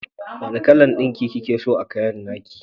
Wanna kalan ɗinki kikeso a kayan nake?